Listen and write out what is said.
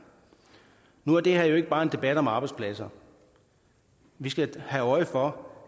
nu er det her jo ikke bare en debat om arbejdspladser vi skal have øje for